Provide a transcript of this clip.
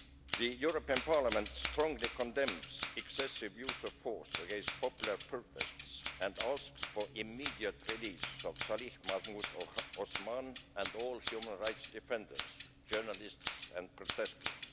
The European Parliament strongly condemns excessive use of force against popular protests and asks for the immediate release of Salih Mahmoud Osman and all human rights defenders, journalists and protesters.